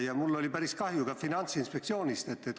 Ja mul oli päris kahju Finantsinspektsioonist.